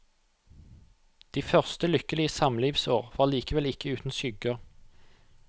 De første lykkelige samlivsår var likevel ikke uten skygger.